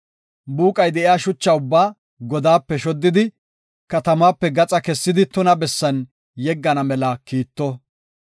buuqay de7iya shucha ubbaa godaape shoddidi, katamaape gaxa kessidi tuna bessan yeggana mela kiitto.